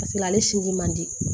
Paseke ale sin ji man di